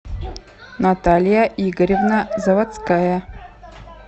наталья игоревна заводская